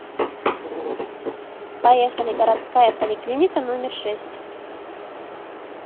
поехали городская поликлиника номер шесть